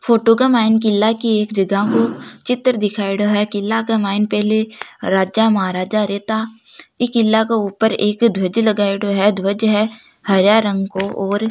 फोटो के मायने किला की एक जगह को चित्र दिखायडो हैं किला के मयान पहली राजा महाराजा रहता इ किला को ऊपर एक ध्वज लगाईडो हैं ध्वज है हरा रंग को और --